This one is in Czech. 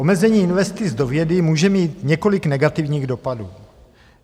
Omezení investic do vědy může mít několik negativních dopadů.